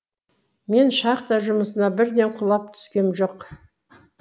мен шахта жұмысына бірден құлап түскем жоқ